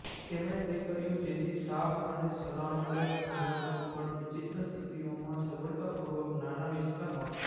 તેમણે તે કર્યું જેથી સાપ અને સલામંડર્સ જેવા સુઘડ વિચિત્ર સ્થિતિઓમાં સગવડતાપૂર્વક નાના વિસ્તારમાં